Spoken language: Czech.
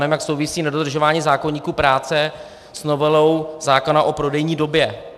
Nevím, jak souvisí nedodržování zákoníku práce s novelou zákona o prodejní době.